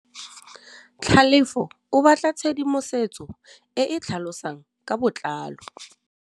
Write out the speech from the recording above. Tlhalefô o batla tshedimosetsô e e tlhalosang ka botlalô.